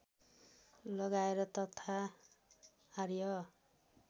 लगाए तथा आर्य